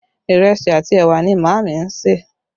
Ìrẹsì àti ẹwà ni Maami ń ṣe